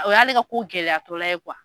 O y'ale ka ko gɛlɛyatɔla ye .